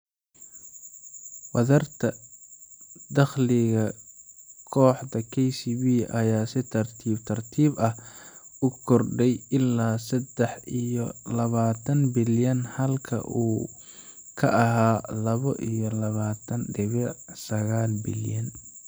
Wadarta dakhliga kooxda KCB ayaa si tartiib tartiib ah u kordhay ilaa sedax iyo labatan bilyan halka uu ka ahaa labo iyo labatan dibic sagal bilyan.